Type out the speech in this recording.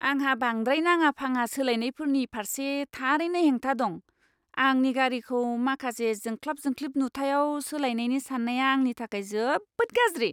आंहा बांद्राय नाङा फाङा सोलायनायफोरनि फारसे थारैनो हेंथा दं। आंनि गारिखौ माखासे जोंख्लाब जोंख्लिब नुथायआव सोलायनायनि साननाया आंनि थाखाय जोबोद गाज्रि।